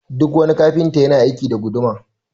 Duk wani Kafinta yana aiki da guduma